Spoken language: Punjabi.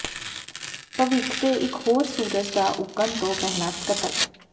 ਭਵਿੱਖ ਦੇ ਇਕ ਹੋਰ ਸੂਰਜ ਦਾ ਉੱਗਣ ਤੋਂ ਪਹਿਲਾਂ ਕਤਲ